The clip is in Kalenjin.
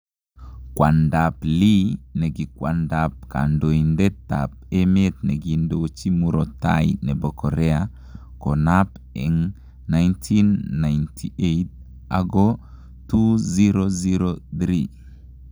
Kwandap Lee, nekikwandap kandoitet ap emet nekindochi murottai nepo korea konap en 1998 oko 2003